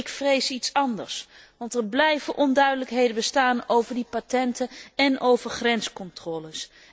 Ik vrees iets anders, want er blijven onduidelijkheden bestaan over die patenten en over grenscontroles.